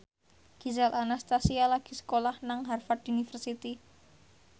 Gisel Anastasia lagi sekolah nang Harvard university